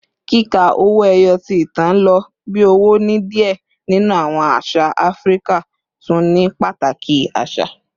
Kika owo eyo, ti itan lo bi owo ni diẹ ninu awọn aṣa Afirika, tun ni pataki asa